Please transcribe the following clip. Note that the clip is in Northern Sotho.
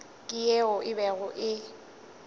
ke yeo e bego e